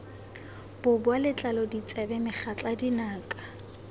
boboa letlalo ditsebe megatla dinaka